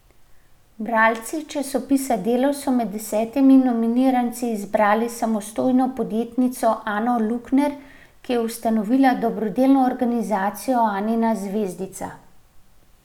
Bralci časopisa Delo so med desetimi nominiranci izbrali samostojno podjetnico Ano Lukner, ki je ustanovila dobrodelno organizacijo Anina zvezdica.